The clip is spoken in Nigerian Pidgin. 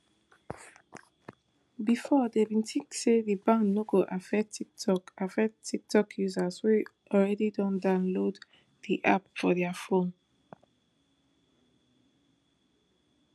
bifor dem bin tink say di ban no go affect tiktok affect tiktok users wey already don download di app for dia fone